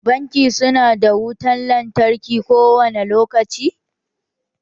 Banki su na da wutan lantarki kowane lokaci